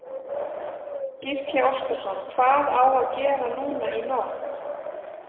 Gísli Óskarsson: Hvað á að gera núna í nótt?